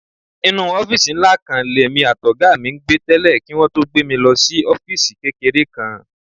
Inú ọ́fíìsì ńlá kan lèmi àtọ̀gá mi ń gbé tẹ́lẹ̀ kí wọn tó gbé mi lọ sí ọ́fíìsì kékeré kan.